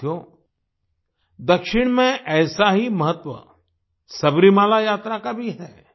साथियो दक्षिण में ऐसा ही महत्व सबरीमाला यात्रा का भी है